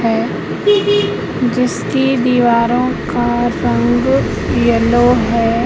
है जिसकी दीवारों का रंग येलो है।